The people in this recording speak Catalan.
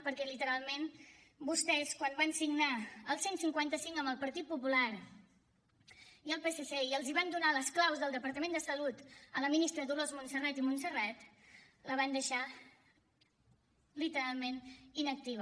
perquè literalment vostès quan van signar el cent i cinquanta cinc amb el partit popular i el psc i van donar les claus del departament de salut a la ministra dolors montserrat i montserrat el van deixar literalment inactiu